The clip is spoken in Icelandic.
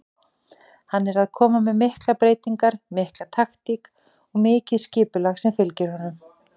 Hann er að koma með miklar breytingar, mikil taktík og mikið skipulag sem fylgir honum.